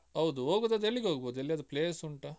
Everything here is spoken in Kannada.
ಹೌದು ಹೋಗುದಾದ್ರೆ ಎಲ್ಲಿಗೆ ಹೋಗ್ಬೋದು ಎಲ್ಲಿಯಾದ್ರು place ಉಂಟಾ?